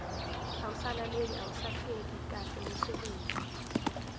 awusalaleli awusahleli kahleumsebenzi